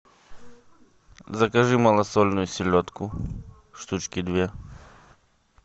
закажи малосольную селедку штучки две